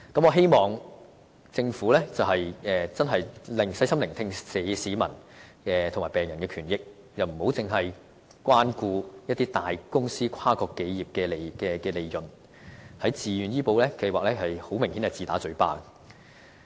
我希望政府細心聆聽市民及病人的權益，不應只關顧一些大公司和跨國企業的利潤，在自願醫保計劃中明顯便是自打嘴巴的。